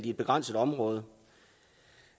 i et begrænset område